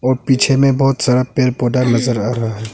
पीछे में बहुत सारा पेड़ पौधा नज़र आ रहा है।